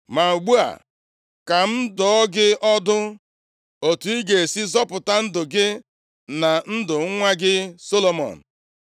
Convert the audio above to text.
Ma ugbu a, ka m dụọ gị ọdụ otu ị ga-esi zọpụta ndụ gị na ndụ nwa gị Solomọn.